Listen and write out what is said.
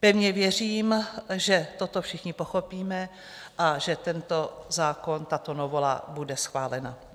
Pevně věřím, že toto všichni pochopíme a že tento zákon, tato novela bude schválena.